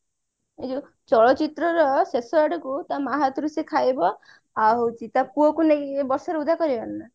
ଏଇ ଯୋଉ ଚଳଚିତ୍ର ର ଶେଷ ଆଡକୁ ତା ମାଆ ହାତରୁ ସେ ଖାଇବ ଆଉ ହଉଛି ତା ପୁଅକୁ ନେଇକି ବର୍ଷରେ ଓଦା କରିବନି